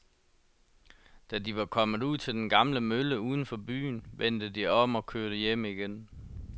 Da de var kommet ud til den gamle mølle uden for byen, vendte de om og kørte hjem igen.